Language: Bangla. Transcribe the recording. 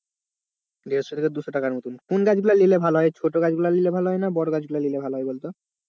দেড়শো থেকে দুশো টাকা মতন, কোন গাছগুলা নিলে ভালো হয় ছোটো গাছ গুলা নিলে ভালো হয় না বড়ো গাছ নিলে ভালো হয় বলতো?